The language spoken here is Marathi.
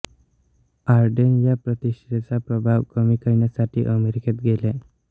ऑडेन या प्रतिष्ठेचा प्रभाव कमी करण्यासाठी अमेरिकेत गेले